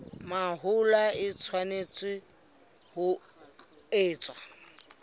mahola e tshwanetse ho etswa